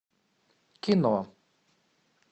кино